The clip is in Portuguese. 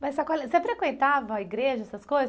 Mas você frequentava a igreja, essas coisas?